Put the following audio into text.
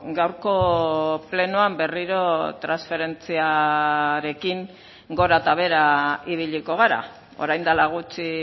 gaurko plenoan berriro transferentziarekin gora eta behera ibiliko gara orain dela gutxi